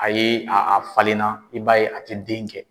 A ye a a falenna i b'a ye a tɛ den kɛ.